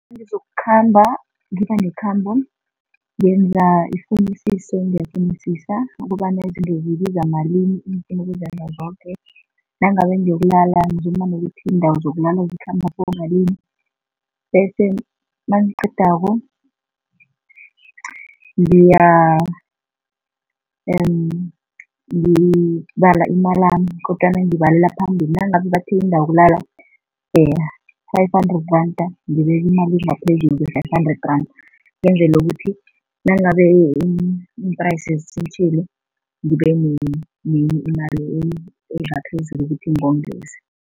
Nangizokukhamba, ngibe nekhambo, ngenza ifunisiso, ngiyafunisisa ukobana izinto zibiza malini engifuna ukuzenza zoke. Nangabe ngiyokulala, ngizuma nokuthi iindawo zokulala zikhamba kibomalini bese nangiqedako ngibala imalami kodwana ngiyibalela phambili. Nangabe bathi indawo yokulala five hundred rand, ngibeka imali engaphezulu kwe-five hundred randa ngenzele ukuthi nangabe iimprayisi ngibe nenye imali engaphezulu ukuthi ngongeze.